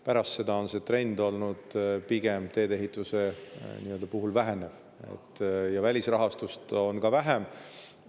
Pärast seda on see trend olnud tee-ehituse puhul pigem vähenev ja välisrahastust on ka vähem.